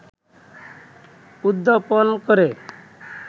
উদ্যাপন করে